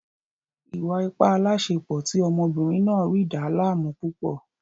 Ìwà-ipá aláàsepọ̀ tí ọmọbìnrin náà rí dàá láàmú púpọ̀